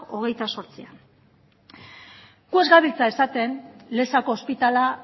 hogeita zortzian gu ez gabiltza esaten lezako ospitalea